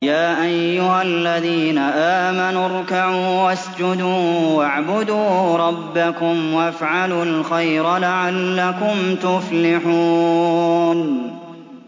يَا أَيُّهَا الَّذِينَ آمَنُوا ارْكَعُوا وَاسْجُدُوا وَاعْبُدُوا رَبَّكُمْ وَافْعَلُوا الْخَيْرَ لَعَلَّكُمْ تُفْلِحُونَ ۩